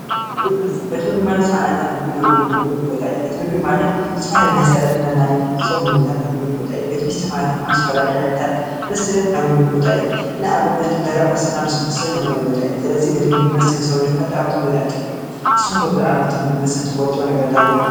ቤት ምግብን መስተን ቤት ምግቢ ማለት ዝተፍላለየ ናይ ስዕረትና ናይ ፆም ምግብታት ንምገበሎ ቦታ እዩ ቤት መስተ ማለት ዝተፈላላየ ዓይነታት መስተ ኣብዝህሉ ቦታ ንኣብነት ደረቅ መስተና ልስሉስ መስተ እዳጉደር ቦታ እዩ። ስለዚ ቤት ምግቢ መስተ ንስውነትና ጎዳኣትን ጠቀምትን ጎዳኣትን እዮም ንስካትኩም ጉዳኣትን ተቀምትን ትፈልጥዎ ነገር ኣለኩም ዶ?